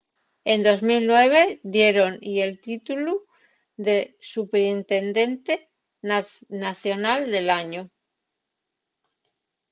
en 2009 diéron-y el títulu de superintendente nacional del añu